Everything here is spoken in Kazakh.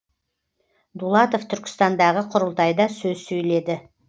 дулатов түркістандағы құрылтайда сөз сөйледі